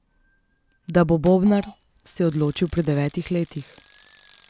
Da bo bobnar, se je odločil pri devetih letih.